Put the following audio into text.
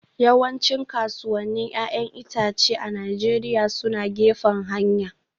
Yawancin kasuwannin 'ya'yan itace a Najeriya suna gefen hanya